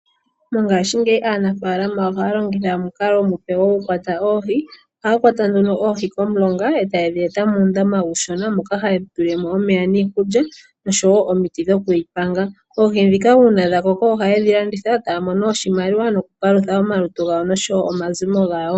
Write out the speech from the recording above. Mongaashingeyi aanafaalama ohaya longitha omukalo omupe ku kwata oohi. Ohaya kwata oohi komulonga eta ye dhi tula muundama uushona, moka ha ye pele mo iikulya nomiti yokudhi panga. opo ya paluthe omazimo gawo.